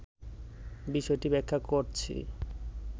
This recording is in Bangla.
বিষয়টি ব্যাখ্যা করছি